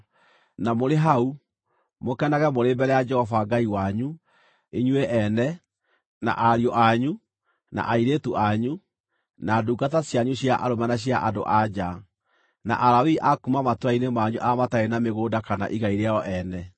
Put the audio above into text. Na mũrĩ hau, mũkenage mũrĩ mbere ya Jehova Ngai wanyu, inyuĩ ene, na ariũ anyu, na airĩtu anyu, na ndungata cianyu cia arũme na cia andũ-a-nja, na Alawii a kuuma matũũra-inĩ manyu arĩa matarĩ na mĩgũnda kana igai rĩao ene.